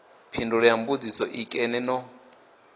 phindulo ya mbudziso nkene no